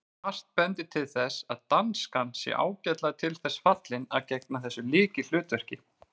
Margt bendir til þess að danskan sé ágætlega til þess fallin að gegna þessu lykilhlutverki.